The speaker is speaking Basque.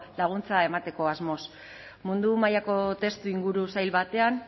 laguntza emateko asmoz mundu mailako testuinguru zail batean